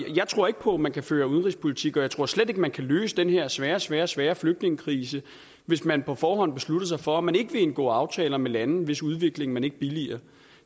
jeg tror ikke på at man kan føre udenrigspolitik og jeg tror slet ikke at man kan løse den her svære svære svære flygtningekrise hvis man på forhånd beslutter sig for at man ikke vil indgå aftaler med lande hvis udvikling man ikke billiger